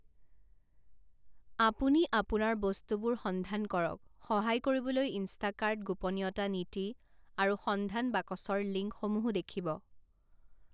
আপুনি আপোনাৰ বস্তুবোৰ সন্ধান কৰাত সহায় কৰিবলৈ ইনষ্টাকাৰ্ট গোপনীয়তা নীতি আৰু সন্ধান বাকচৰ লিঙ্কসমূহো দেখিব।